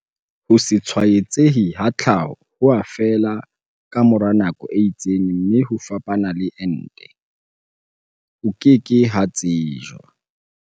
Ho se tshwaetsehe ha tlhaho ho a fela ka mora nako e itseng mme ho fapana le ente, ho ke ke ha tsejwa.